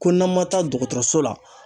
Ko n'an ma taa dɔgɔtɔrɔso la